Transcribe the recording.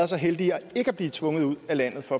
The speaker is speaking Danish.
så heldige ikke at blive tvunget ud af landet for